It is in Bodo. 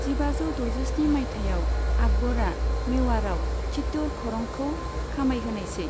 जिबाजौ द'जिस्नि मायथाइयाव आकबरा मेवाड़आव चित्तौड़ खरंखौ खामायहोनायसै।